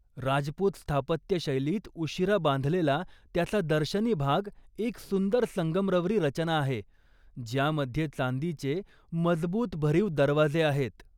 राजपूत स्थापत्य शैलीत उशीरा बांधलेला त्याचा दर्शनी भाग एक सुंदर संगमरवरी रचना आहे ज्यामध्ये चांदीचे मजबूत भरीव दरवाजे आहेत.